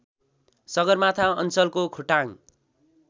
सगरमाथा अञ्चलको खोटाङ